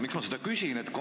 Miks ma seda küsin?